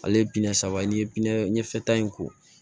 Ale ye biɲɛ saba ye n'i ye biɲɛn fɛta in ko